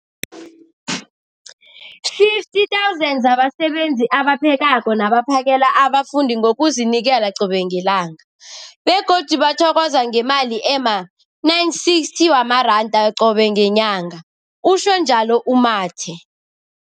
50 000 zabasebenzi abaphekako nabaphakela abafundi ngokuzinikela qobe ngelanga, begodu bathokozwa ngemali ema-960 wamaranda qobe ngenyanga, utjhwe njalo u-Mathe.